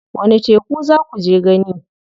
Wani teku za kuje gani?